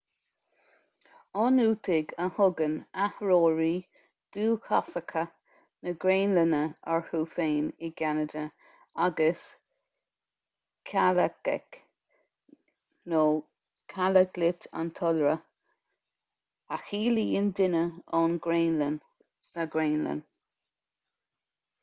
ionúitigh a thugann áitritheoirí dúchasacha na graonlainne orthu féin i gceanada agus kalaalleq kalaallit an t-iolra a chiallaíonn duine ón ngraonlainn sa ghraonlainn